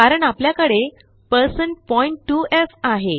कारण आपल्याकडे2f आहे